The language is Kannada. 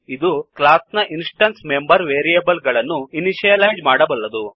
ಇದು ಕ್ಲಾಸ್ ನ ಇನ್ಸ್ ಟೆನ್ಸ್ ಮೆಂಬರ್ ವೇರಿಯೇಬ್ಲ್ ಗಳನ್ನು ಇನಿಶಿಯಲೈಜ್ ಮಾಡಬಲ್ಲದು